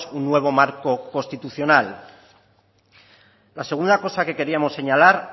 un nuevo marco constitucional la segunda cosa que queríamos señalar